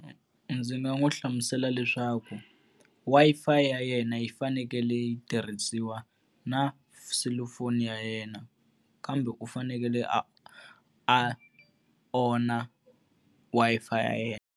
Ndzi nga n'wi hlamusela leswaku Wi-Fi ya yena yi fanekele yi tirhisiwa na selufoni ya yena, kambe u fanekele a a owner Wi-Fi ya yena.